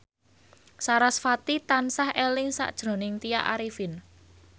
sarasvati tansah eling sakjroning Tya Arifin